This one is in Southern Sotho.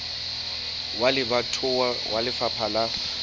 wa lebatowa wa lefapha la